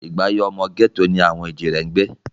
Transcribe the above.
Ìgbé ayé ọmọ gẹ́tò ni àwọn èjìrẹ́ ń gbé